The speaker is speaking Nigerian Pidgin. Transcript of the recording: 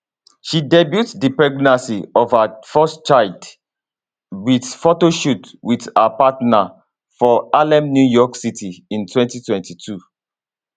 she debut di pregnancy of her first child wit photoshoot wit her partner for harlem new york city in 2022